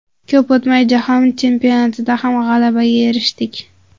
Ko‘p o‘tmay, jahon chempionatida ham g‘alabaga erishdik.